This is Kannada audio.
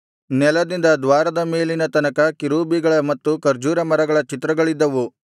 ನೆಲದಿಂದ ದ್ವಾರದ ಮೇಲಿನ ತನಕ ಕೆರೂಬಿಗಳ ಮತ್ತು ಖರ್ಜೂರ ಮರಗಳ ಚಿತ್ರಗಳಿದ್ದವು